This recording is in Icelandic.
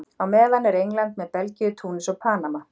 Á meðan er England með Belgíu, Túnis og Panama.